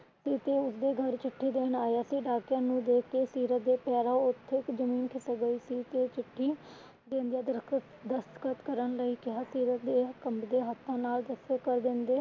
ਉਸ ਦੇ ਘਰ ਚਿੱਠੀ ਦੇਣ ਆਇਆ ਸੀ। ਡਾਕਿਆ ਨੂੰ ਦੇਖਕੇ ਸੀਰਤ ਦੇ ਪੈਰਾਂ ਹੇਠਾਂ ਜ਼ਮੀਨ ਖਿਸਕ ਗਈ ਸੀ ਤੇ ਚਿੱਠੀ ਦੇਂਦੇ ਦਸਤਖ਼ਤ ਕਰਨ ਲਈ ਕਿਹਾ ਸੀਰਤ ਦੇ ਕੰਬਦੇ ਹੱਥਾਂ ਨਾਲ ਦਸਖ਼ਤ ਕਰ ਦੇਂਦੇ ਅਤੇ